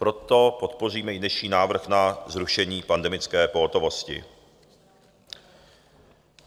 Proto podpoříme i dnešní návrh na zrušení pandemické pohotovosti.